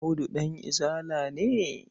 Audu ɗan Izala ne.